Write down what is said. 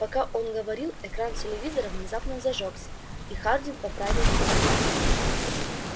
пока он говорил экран телевизора внезапно зажёгся и хардин поправил себя